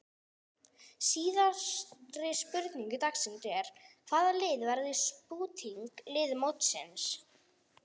Síðari spurning dagsins er: Hvaða lið verður spútnik lið mótsins?